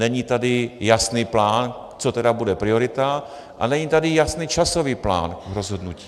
Není tady jasný plán, co tedy bude priorita, a není tady jasný časový plán rozhodnutí.